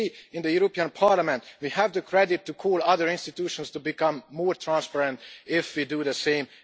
And we in the European Parliament, we have the credit to call other institutions to become more transparent if we do the same.